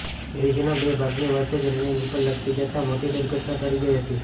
બ્રિજના બે ભાગની વચ્ચે જ રેલિંગ ઉપર લટકી જતાં મોટી દુર્ઘટના ટળી ગઇ હતી